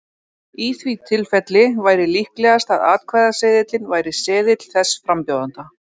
Í því tilfelli væri líklegast að atkvæðaseðilinn væri seðill þess frambjóðanda.